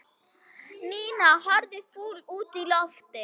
Nína horfði fúl út í loftið.